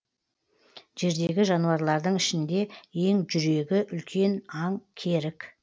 жердегі жануарлардың ішінде ең жүрегі үлкен аң керік